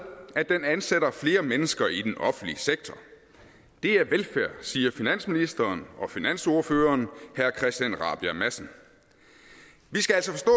at den ansætter flere mennesker i den offentlige sektor det er velfærd siger finansministeren og finansordføreren herre christian rabjerg madsen vi skal altså forstå